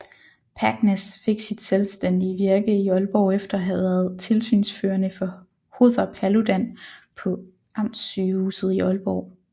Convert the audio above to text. Packness fik sit selvstændige virke i Aalborg efter at have været tilsynsførende for Hother Paludan på amtssygehuset i Aalborg